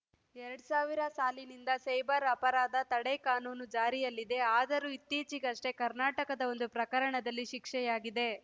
ಎರಡ್ ಸಾವಿರ ಸಾಲಿನಿಂದ ಸೈಬರ್‌ ಅಪರಾಧ ತಡೆ ಕಾನೂನು ಜಾರಿಯಲ್ಲಿದೆ ಆದರೂ ಇತ್ತೀಚಿಗಷ್ಟೇ ಕರ್ನಾಟಕದ ಒಂದು ಪ್ರಕರಣದಲ್ಲಿ ಶಿಕ್ಷೆಯಾಗಿದೆ